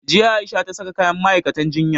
Jiya A'isha ta saka kayan ma'aikatan jinya.